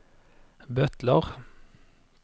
butler